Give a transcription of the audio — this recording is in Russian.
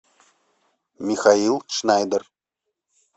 михаил шнайдер